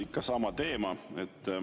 Ikka sama teema.